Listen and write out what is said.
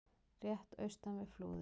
rétt austan við Flúðir.